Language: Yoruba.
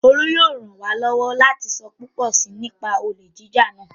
Olú yóò ràn wá lọ́wọ́ láti sọ púpọ̀ si nípa olè jíjà náà